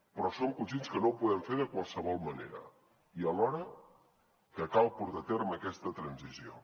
però som conscients que no ho podem fer de qualsevol manera i alhora que cal portar a terme aquesta transició